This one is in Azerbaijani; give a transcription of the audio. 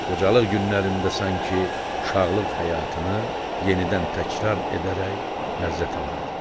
qocalıq günlərində sanki uşaqlıq həyatını yenidən təkrar edərək ləzzət alardı.